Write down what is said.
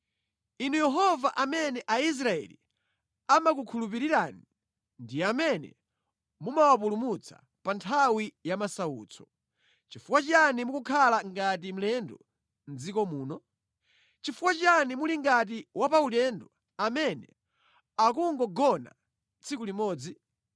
Inu Yehova amene Aisraeli amakukhulupirirani ndi amene mumawapulumutsa pa nthawi ya masautso, chifukwa chiyani mukukhala ngati mlendo mʼdziko muno? Chifukwa chiyani muli ngati wapaulendo amene akungogona tsiku limodzi?